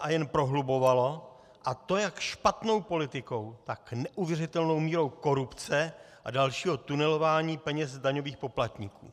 a jen prohlubovala, a to jak špatnou politikou, tak neuvěřitelnou mírou korupce a dalšího tunelování peněz z daňových poplatníků.